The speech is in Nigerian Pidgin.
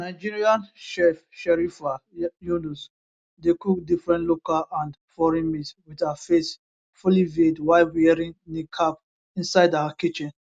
nigerian chef sherifah yunus dey cook different local and foreign meals wit her face fully veiled while wearing niqab inside her kitchen